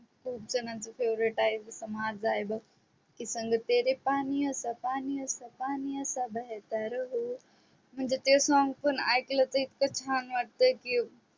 तो पण favorite आहे तो तर माझा आहे बघ की संग तेरे पानियो स पानियो स पानियो सा बेहेतर हू तर ते song पण ऐकल की इतक छान वाटतय की